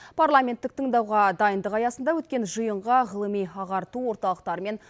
парламенттік тыңдауға дайындық аясында өткен жиынға ғылыми ағарту орталықтары мен